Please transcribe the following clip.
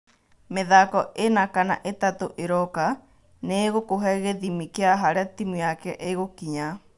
Mĩthako ĩna kana ĩtatũ ĩroka nĩigũkũhe gĩthĩmi kĩa harĩa timu yake ĩgũkinya.